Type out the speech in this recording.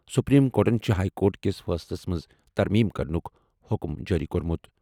Supreme کورٹَن چھِ high court کِس فٲصلَس منٛز ترمیم کرنُک حکم جٲری کوٚرمُت۔